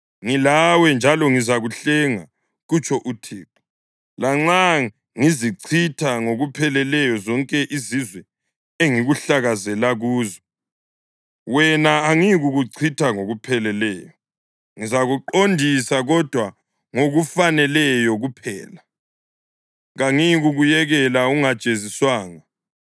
Ngilawe njalo ngizakuhlenga,’ kutsho uThixo. ‘Lanxa ngizichitha ngokupheleleyo zonke izizwe engikuhlakazela kuzo, wena angiyikukuchitha ngokupheleleyo. Ngizakuqondisa kodwa ngokufaneleyo kuphela; kangiyikukuyekela ungajeziswanga.’